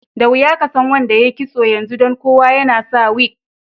Da wiya ka san wanda yayi kisso yanzu dan kowa yana sa wig.